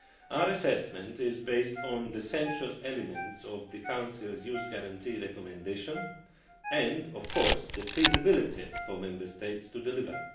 Our assessment is based on the central elements of the Council's Youth Guarantee Recommendation and, of course, the feasibility for Member States to deliver.